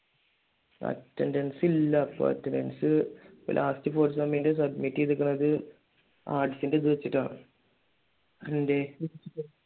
attendence ഇല്ല ഇപ്പൊ attendance എനക്ക് last fourth സെമ്മിന്റെ submit ചെയ്തേക്കുന്നത് ആർട്സിന്റെ ഇതുവെച്ചിട്ടാ എന്തെ